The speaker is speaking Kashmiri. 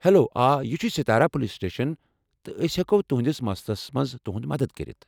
ہٮ۪لو، آ یہِ چھُ ساتارا پُلیٖس سٹیشن تہٕ أسۍ ہٮ۪کو تہنٔدس مسلس منٛز تُہنٛد مدتھ کٔرِتھ ۔